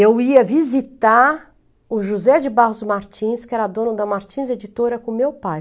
Eu ia visitar o José de Barros Martins, que era dono da Martins Editora, com meu pai.